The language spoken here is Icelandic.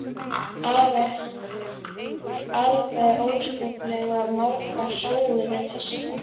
Afi kann alveg óskaplega margar sögur um hesta.